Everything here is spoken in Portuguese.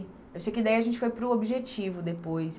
Achei que daí a gente foi para o Objetivo depois.